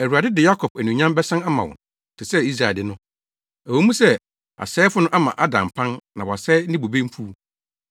Awurade de Yakob anuonyam bɛsan ama no te sɛ Israel de no, ɛwɔ mu sɛ, asɛefo no ama ada mpan na wɔasɛe ne bobe mfuw.